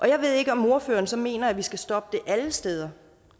jeg ved ikke om ordføreren så mener at vi skal stoppe det alle steder